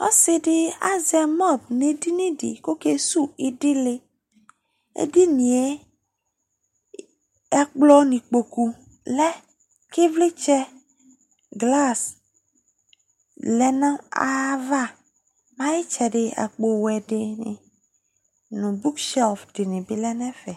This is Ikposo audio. Ɔsɩ dɩ azɛ mɔb nʋ edini dɩ Ɔkesuwu ɩdɩlɩ Edini yɛ, ɛkplɔ nʋ ikpoku lɛ kʋ ɩvlɩtsɛ, glas lɛ nʋ ayava Ayʋ ɩtsɛdɩ, akpowɛ dɩnɩ nʋ buk sɩɔf dɩnɩ bɩ lɛ nʋ ɛfɛ